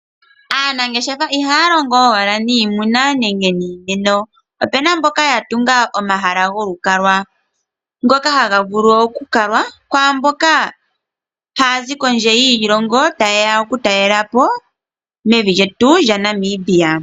Aanangeshefa ihaya longo owala niimuna nenge niimeno, opu na mboka ya tunga omahala golukalwa ngoka haga vulu okukalwa kwaamboka taya zi kondje yiilongo taye ya okutalela po mevi lyetu lyaNamibia.